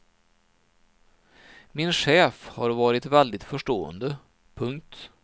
Min chef har varit väldigt förstående. punkt